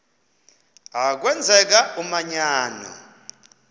a kwenzeka umanyano